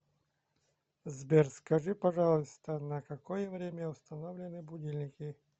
сбер скажи пожалуйста на какое время установлены будильники